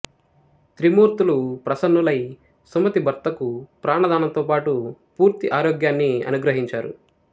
త్రిమూర్తులు ప్రసన్నులై సుమతి భర్తకు ప్రాణదానంతోపాటు పూర్తి ఆరోగ్యాన్ని అనుగ్రహించారు